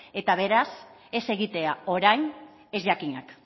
eta beraz ez egitea orain ez jakinak